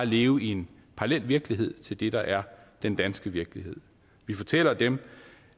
leve i en parallel virkelighed til det der er den danske virkelighed vi fortæller dem